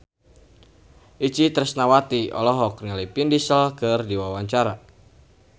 Itje Tresnawati olohok ningali Vin Diesel keur diwawancara